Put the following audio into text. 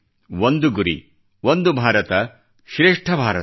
ಒಂದು ಗುರಿ ಒಂದು ಭಾರತ ಶ್ರೇಷ್ಠ ಭಾರತ